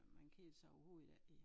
Man kedede sig overhovede ik i